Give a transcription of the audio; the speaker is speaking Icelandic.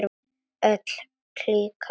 Öll klíkan.